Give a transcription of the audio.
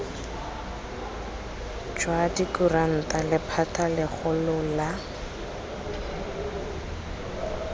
jwa dikuranta lephata legolo la